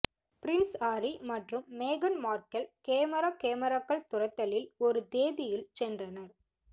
Prince Harry மற்றும் மேகன் Markle camera கேமராக்கள் துரத்தலில் ஒரு தேதியில் சென்றனர்